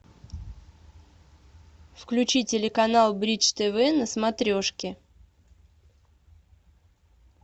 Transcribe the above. включи телеканал бридж тв на смотрешке